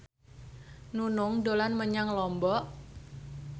Nunung dolan menyang Lombok